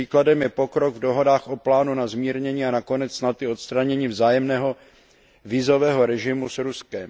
Příkladem je pokrok v dohodách o plánu na zmírnění a nakonec snad i odstranění vzájemného vízového režimu s Ruskem.